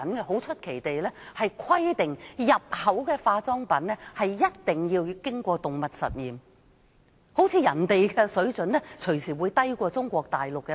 很出奇地，中國還規定入口化妝品必須經過動物實驗，好像人家的化妝品安全標準隨時會低於中國大陸的。